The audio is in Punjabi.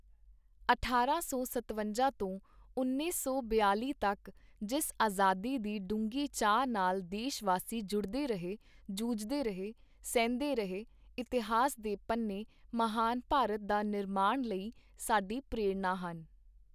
ਅਠਾਰਾਂ ਸੌ ਸਤਵੰਜਾ ਤੋਂ ਉੱਨੀ ਸੌ ਬਿਆਲ਼ੀ ਤੱਕ ਜਿਸ ਆਜ਼ਾਦੀ ਦੀ ਡੂੰਘੀ ਚਾਹ ਨਾਲ ਦੇਸ਼ ਵਾਸੀ ਜੁੜਦੇ ਰਹੇ, ਜੂਝਦੇ ਰਹੇ, ਸਹਿੰਦੇ ਰਹੇ, ਇਤਿਹਾਸ ਦੇ ਪੰਨੇ ਮਹਾਨ ਭਾਰਤ ਦਾ ਨਿਰਮਾਣ ਲਈ ਸਾਡੀ ਪ੍ਰੇਰਣਾ ਹਨ।